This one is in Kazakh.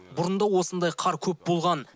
бұрын да осындай қар көп болған